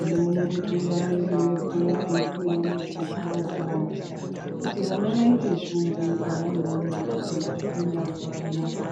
unoona mutungamiriri wepo eipuwa muchovha wokuhambisa kuti vana vaite shungu pavanoona kuti kufunda kwakanaka.